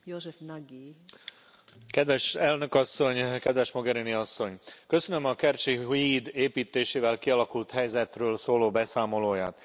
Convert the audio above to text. Tisztelt Elnök Asszony! Kedves Mogherini asszony! Köszönöm a kercsi híd építésével kialakult helyzetről szóló beszámolóját.